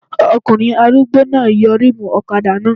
Ọkùnrin arúgbó náà yọ rímùù ọ̀kadà náà